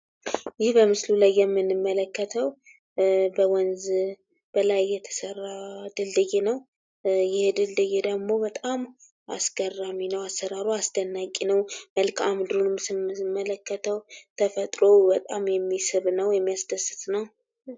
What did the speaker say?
ይህ በምስሉ ላይ የምንመለከተው በወንዝ በላይ የተሰራ ድልድይ ነው። ይህ ድልድይ ደግሞ በጣም አስገራሚ ነው። አሰራሩ አስደናቂ ነው። መልክአ ምድሩንም ስንመለከተው ተፈጥሮው በጣም የሚስብ ነው የሚያስደስት ነው።